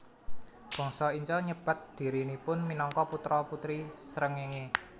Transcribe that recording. Bangsa Inca nyebat dhirinipun minangka putra putri srengéngé